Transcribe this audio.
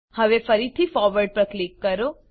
હવે ફરીથી ફોરવર્ડ પર ક્લિક કરો